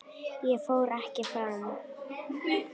Ég fór ekki fram.